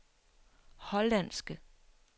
hollandske